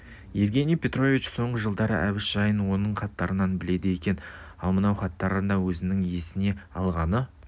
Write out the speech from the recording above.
евгений петрович соңғы жылдардағы әбіш жайын оның хаттарынан біледі екен ал мынау хатында өзінің есіне алғаны